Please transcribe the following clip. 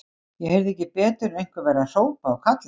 Ég heyrði ekki betur en einhverjir væru að hrópa og kalla.